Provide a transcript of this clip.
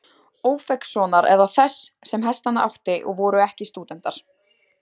Ófeigssonar eða þess, sem hestana átti, og voru það ekki stúdentar.